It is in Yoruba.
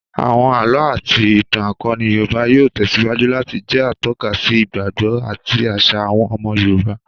Àwọn àlọ́ àti ìtàn akọni Yorùbá yóò tẹ̀síwájú láti jẹ atọ́ka sí ìgbàgbọ́ àti àṣà àwọn ọmọ Yorùbá